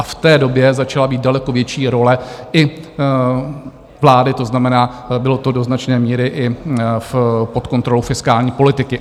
A v té době začala být daleko větší role i vlády, to znamená, bylo to do značné míry i pod kontrolou fiskální politiky.